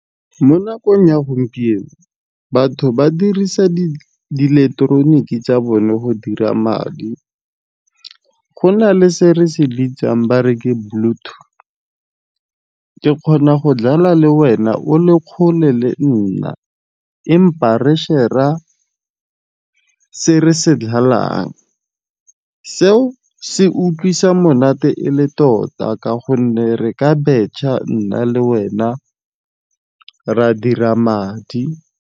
Mo nakong ya gompieno batho ba dirisa di ileketeroniki tsa bone go dira madi. Go na le se re se bitsang ba re ke bluto, ke kgona go dlala le wena o le kgole le nna empa re share-ra se re se dlalang. Seo se utlwisa monate e le tota ka gonne re ka betšha nna le wena re a dira madi.